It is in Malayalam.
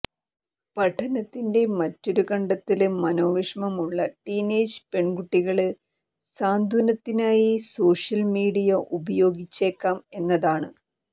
പഠനത്തിന്റെ മറ്റൊരു കണ്ടെത്തല് മനോവിഷമുള്ള ടീനേജ് പെണ്കുട്ടികള് സാന്ത്വനത്തിനായി സോഷ്യല് മീഡിയ ഉപയോഗിച്ചേക്കാം എന്നാതാണ്